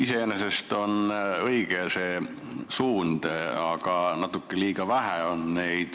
Iseenesest on see õige suund, aga neid muudatusi on natuke liiga vähe.